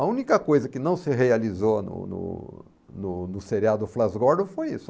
A única coisa que não se realizou no no no no seriado Flash Gordon foi isso.